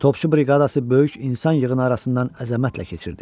Topçu briqadası böyük insan yığını arasından əzəmətlə keçirdi.